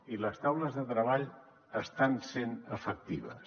i les taules de treball estan sent efectives